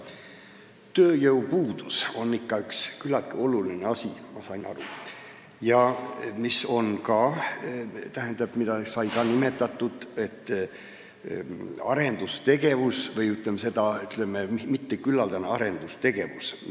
Tööjõupuudus on ikka küllaltki oluline asi, ma sain aru, ja siin öeldi, et meie majanduses toimub arendustegevus või, ütleme, mitteküllaldane arendustegevus.